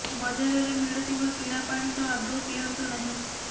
ବଜାରେରେ ମିଳୁଥିବା କିଣା ପାଣି ତ ଆଦୌ ପିଅନ୍ତୁ ନାହିଁ